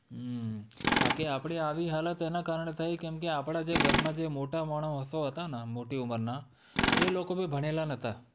હમ બાકી આપડી આવી હાલત એના કારણે થઈ કેમકે, આપણાં જે ઘરમાં જે મોટા માણસો હતા ને! મોટી ઉંમરના, એ લોકો ભી ભણેલાં નતા.